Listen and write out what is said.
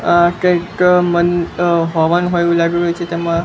આ કંઈક મન અ હવન હોય એવુ લાગી રહ્યું છે તેમાં--